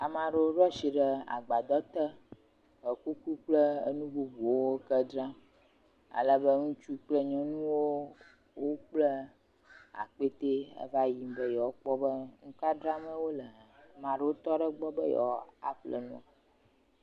Ame aɖewo ɖo asi ɖe agbadɔ te. Ekuku kple enu bubuwo keŋ dzram ale be ŋutsu kple nyɔnuwo woble akpɛtɛ eva y be yewoa kpɔ be nu ka dzram wole hã. Ame aɖewo tɔ ɖe egbɔ be yewoaƒle nu.